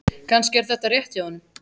Kannski er þetta rétt hjá honum.